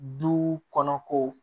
Duw kɔnɔ ko